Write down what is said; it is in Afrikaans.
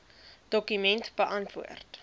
dokument beantwoord